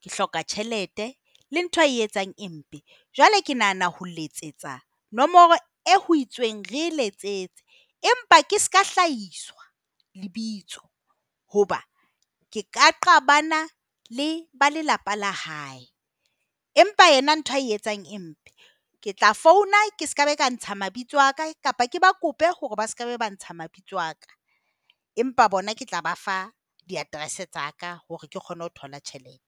ke hloka tjhelete, le ntho eo a e etsang e mpe. Jwale ke nahana ho letsetsa nomoro eo ho itsweng re letsetse empa ke seka hlahiswa lebitso, hoba re ka qabana le ba lelapa la hae. Empa yena ntho a e etsang e mpe. Ke tla founa ke seka ba ka ntsha mabitso a ka, kapa ke ba kope hore ba se ka ntsha mabitso a ka. Empa bona ke tla ba fa di-address tsa ka hore ke kgone ho thola tjhelete.